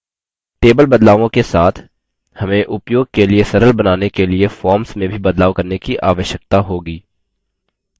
table बदलावों के साथ हमें उपयोग के लिए सरल बनाने के लिए forms में भी बदलाव करने की आवश्यकता होगी